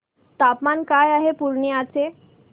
तापमान काय आहे पूर्णिया चे